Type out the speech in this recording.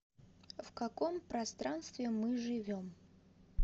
в каком пространстве мы живем